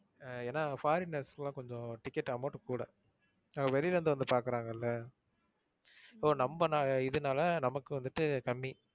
அஹ் ஏன்னா foreigners க்குலாம் கொஞ்சம் ticket amount கூட. வெளியில இருந்து வந்து பாக்குறாங்கல்ல. இப்போ நம்ப இதுனால நமக்கு வந்துட்டு கம்மி.